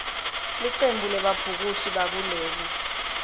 licembu lebabhukushi bakuleli